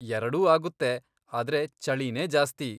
ಎರಡೂ ಆಗುತ್ತೆ, ಆದ್ರೆ ಚಳಿನೇ ಜಾಸ್ತಿ.